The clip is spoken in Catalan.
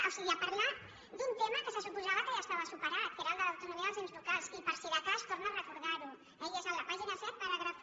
o sigui a parlar d’un tema que se suposava que ja estava superat que era el de l’autonomia dels ens locals i per si de cas torna a recordar ho eh i és a la pàgina set paràgraf un